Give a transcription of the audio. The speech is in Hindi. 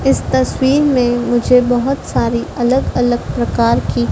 इस तस्वीर में मुझे बहुत सारी अलग-अलग प्रकार की --